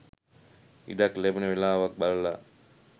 ඉඩක් ලැබෙන වෙලාවක් බලලා.